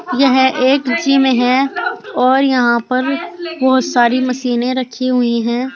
यह एक जिम है और यहां पर बहोत सारी मशीनें रखी हुई है।